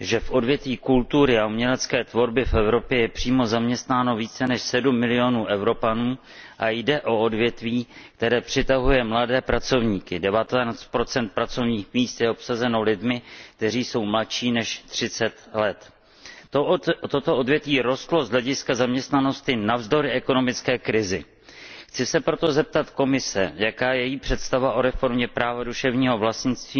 že v odvětví kultury a umělecké tvorby v Evropě je přímo zaměstnáno více než 7 milionů Evropanů a jde o odvětví, které přitahuje mladé pracovníky 19 pracovních míst je obsazeno lidmi, kteří jsou mladší než 30 let. Toto odvětví rostlo z hlediska zaměstnanosti navzdory ekonomické krizi. Chci se proto zeptat Komise, jaká je její představa o reformě práva duševního vlastnictví,